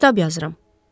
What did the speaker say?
Kitab yazıram.